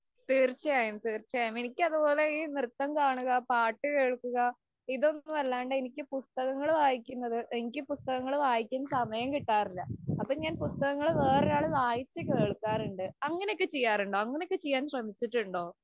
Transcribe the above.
തീര്‍ച്ചയായും, തീര്‍ച്ചയായും. എനിക്കതുപോലെ നൃത്തം ചെയ്യുക, പാട്ടുകേള്‍ക്കുക, ഇതൊന്നുമല്ലാണ്ട് എനിക്ക് പുസ്തകങ്ങള്‍ വായിക്കുന്നത്. എനിക്ക് പുസ്തകങ്ങള്‍ വായിക്കാന്‍ സമയം കിട്ടാറില്ല. അപ്പൊ ഞാന്‍ പുസ്തകങ്ങള് വേറൊരാള് വായിച്ചുകേള്‍ക്കാറുണ്ട്. അങ്ങനെയൊക്കെ ചെയ്യാറുണ്ടോ? അങ്ങനെ ചെയ്യാന്‍ ശ്രമിച്ചിട്ടുണ്ടോ? .